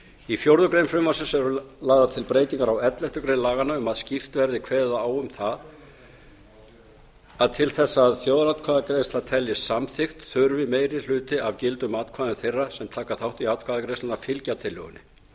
í fjórða grein frumvarpsins eru lagðar til breytingar á elleftu grein laganna um að skýrt verði kveðið á um að til þess að þjóðaratkvæðagreiðsla teljist samþykkt þurfi meiri hluti af gildum atkvæða þeirra sem taka þátt í atkvæðagreiðslunni að fylgja tillögunni